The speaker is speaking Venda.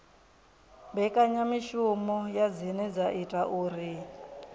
mbekanyamishumo dzine dza ita uri